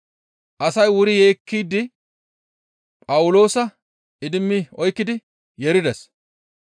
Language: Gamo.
Asay wuri yeekkishe Phawuloosa idimmi oykkidi yeerides.